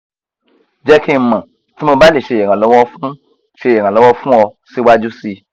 jẹ ki n mọ ti mo ba le ṣe iranlọwọ fun ṣe iranlọwọ fun ọ siwaju sii